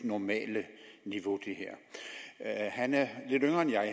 normale niveau han er lidt yngre end jeg